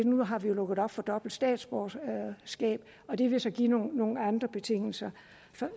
nu har vi jo lukket op for dobbelt statsborgerskab og det vil så give nogle andre betingelser